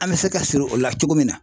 An me se ka siri o la cogo min na